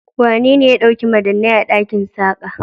Wanene ya ɗauki madannai a ɗakin Saka?